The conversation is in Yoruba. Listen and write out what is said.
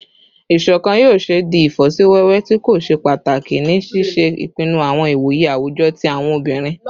Iṣọkan yoo ṣee di ifosiwewe ti ko ṣe pataki ni ṣiṣe ipinnu awọn iwoye awujọ ti awọn obinrin